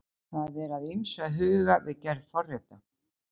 það er að ýmsu að huga við gerð forrita